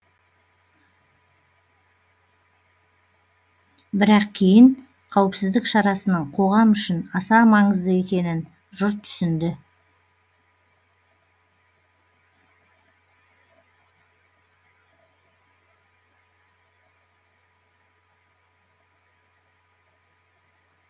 бірақ кейін қауіпсіздік шарасының қоғам үшін аса маңызды екенін жұрт түсінді